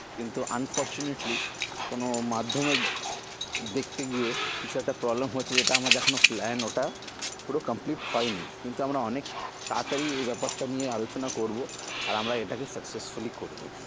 কিন্তু unfortunately কোনো মাধ্যমে দেখতে গিয়ে কিছু একটা problem হচ্ছে যেটা আমাদের এখনো plan ওটা পুরো complete হয় নি কিন্তু আমরা অনেক তাড়াতাড়ি এ ব্যাপারটা নিয়ে আলোচনা করবো আর আমরা এটাকে successfully করবো